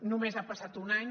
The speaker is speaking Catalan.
només ha passat un any